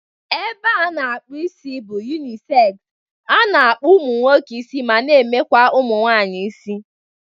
Ebea a na-akpụ isi bụ yunisegz, ana akpụ ụmụ nwoke isi ma na-emekwa ụmụ nwaanyị isi